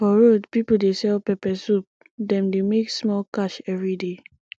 for road people dey sell pepper soup dem dey make small cash every day